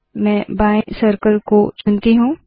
मैं बाएं सर्कल को चुनती हूँ